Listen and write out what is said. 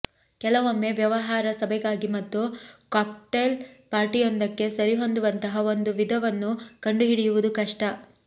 ಕೆಲವೊಮ್ಮೆ ವ್ಯವಹಾರ ಸಭೆಗಾಗಿ ಮತ್ತು ಕಾಕ್ಟೈಲ್ ಪಾರ್ಟಿಯೊಂದಕ್ಕೆ ಸರಿಹೊಂದುವಂತಹ ಒಂದು ವಿಧವನ್ನು ಕಂಡುಹಿಡಿಯುವುದು ಕಷ್ಟ